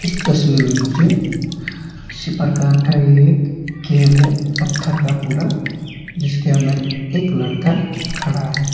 तस्वीर में मुझे किसी प्रकार का ये एक केव है पत्थर का पूरा जिसके अंदर एक लड़का खड़ा है।